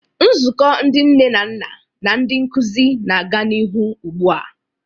Nzukọ ndị nne na nna na ndị nkuzi na-aga n'ihu ugbu a.